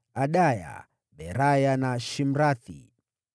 Adaya, Beraya na Shimrathi walikuwa wana wa Shimei.